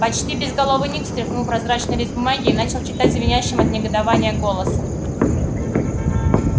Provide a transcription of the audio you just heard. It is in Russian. почти безголовый ник встряхнул прозрачный лист бумаги и начал читать звенящим от негодования голосом